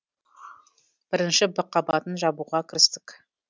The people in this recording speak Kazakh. бірінші в қабатын жабуға кірістік